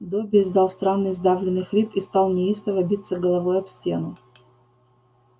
добби издал странный сдавленный хрип и стал неистово биться головой об стену